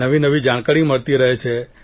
નવીનવી જાણકારી મળતી રહે છે